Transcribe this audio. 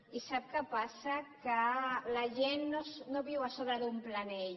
i sap què passa que la gent no viu a sobre d’un plànol